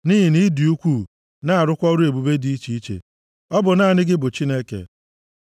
Nʼihi na ị dị ukwuu na-arụkwa ọrụ ebube dị iche iche; ọ bụ naanị gị bụ Chineke.